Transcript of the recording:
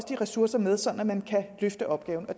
de ressourcer med sådan at man kan løfte opgaven og